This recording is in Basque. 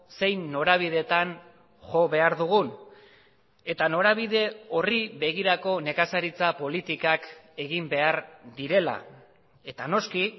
zein norabideetan jo behar dugun eta norabide horri begirako nekazaritza politikak egin behar direla eta noski